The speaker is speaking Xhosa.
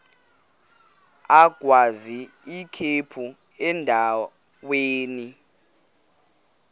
agwaz ikhephu endaweni